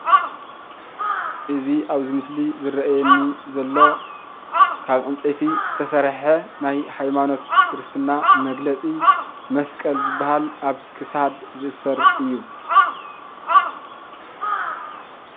እዚ አብዚ ምሰሊ ዝረአየኒ ዘሎ ካብ ዕንፀይቲ ዝተሰርሐ ናይ ሃይማኖት ክርስትና መግለፂ መስቀል ዝበሃል አብ ክሳድ ዝእሰር እዩ፡፡